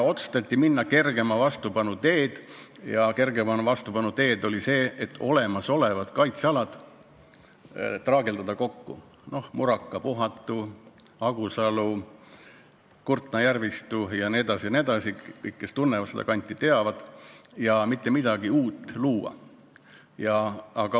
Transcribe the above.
Otsustati minna kergema vastupanu teed ja n-ö traageldada kokku olemasolevad kaitsealad Muraka, Puhatu, Agusalu, Kurtna järvistu – kõik, kes seda kanti tunnevad, need teavad –, aga mitte midagi uut luua.